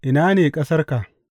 Ina ne ƙasarka?